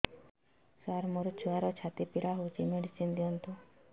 ସାର ମୋର ଛୁଆର ଛାତି ପୀଡା ହଉଚି ମେଡିସିନ ଦିଅନ୍ତୁ